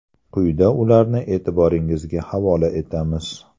Quyida ularni e’tiboringizga havola etamiz.